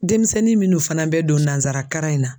Demisɛnnin minnu fana bɛ don nansara karan in na